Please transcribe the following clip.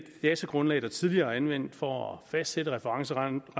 datagrundlag der tidligere er anvendt for at fastsætte referencerenten